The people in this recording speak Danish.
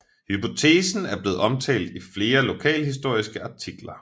Hypotesen er blevet omtalt i flere lokalhistoriske artikler